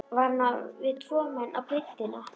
Var hann á við tvo menn á breiddina?